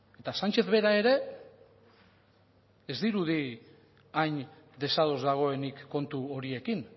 eta sánchez bera ere ez dirudi hain desados dagoenik kontu horiekin